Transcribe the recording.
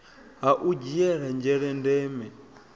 ha u dzhiele nzhele ndeme